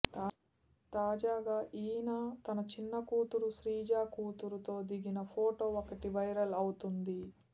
తాజాగా ఈయన తన చిన్న కూతురు శ్రీజ కూతురుతో దిగిన ఫోటో ఒకటి వైరల్ అవుతుంది